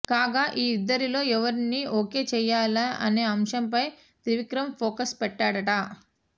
కాగా ఈ ఇద్దరిలో ఎవరిని ఓకే చేయాలా అనే అంశంపై త్రివిక్రమ్ ఫోకస్ పెట్టాడట